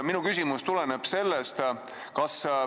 Minu küsimus tulenebki sellest.